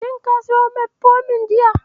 Shin ka siyo Metfomin jiya?